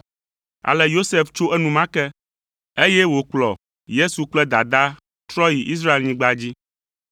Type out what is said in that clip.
Ale Yosef tso enumake, eye wòkplɔ Yesu kple dadaa trɔ yi Israelnyigba dzi.